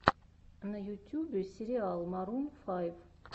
на ютюбе сериал марун файв